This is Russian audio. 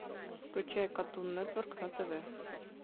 включай катун нетворк на тв